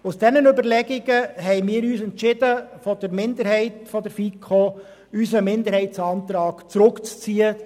Aus diesen Überlegungen haben wir uns seitens der FiKo-Minderheit entschieden, unseren Minderheitsantrag zurückzuziehen.